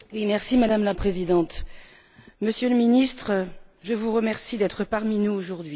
Madame la Présidente, Monsieur le Ministre, je vous remercie d'être parmi nous aujourd'hui.